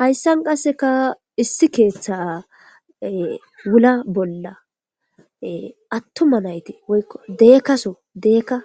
Hayssan qassika issi keeththaa wula bolla aththuma na7ithi woykko deeko so deeka